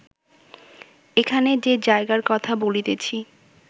এখানে যে জায়গার কথা বলিতেছি